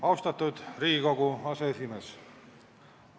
Austatud Riigikogu aseesimees!